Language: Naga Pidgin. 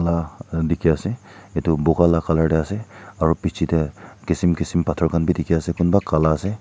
Laga uh dekhe ase etu bukha la colour dae ase aro bechidae kisim kisim pathor khan bhi dekhe ase kunba kala ase.